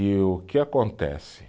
E o que acontece?